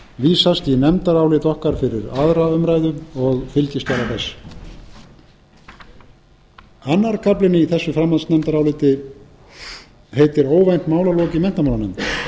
vísast í nefndarálit okkar fyrir aðra umræðu og fylgiskjala þess annar kaflinn í þessu framhaldsnefndaráliti heitir óvænt málalok í menntamálanefnd